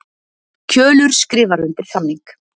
Kjölur skrifar undir samning